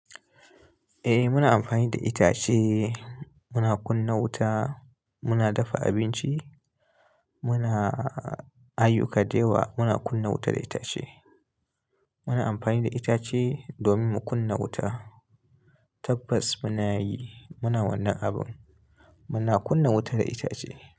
Eh muna amfani da itace, muna kunna wuta, muna dafa abinci, muna ayuka da yawa. Muna kunna wuta da itace. Muna amfani da itace domin mu kunna wuta. Tabbas muna yi, muna wannan abin. Muna kunna wuta da itace.